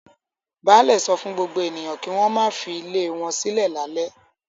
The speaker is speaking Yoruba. Baálẹ̀ sọ fún gbogbo ènìyàn kí wọ́n má filé wọn sílẹ̀ lálẹ́.